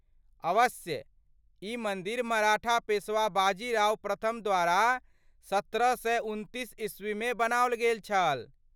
अवश्य, ई मन्दिर मराठा पेशवा बाजी राव प्रथम द्वारा सत्रह सए उनतीस ईस्वीमे बनबाओल गेल छल।